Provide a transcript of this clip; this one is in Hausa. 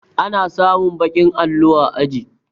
Ana samun baƙin allo a aji